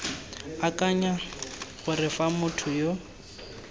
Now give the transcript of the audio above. akanyang gore fa motho yo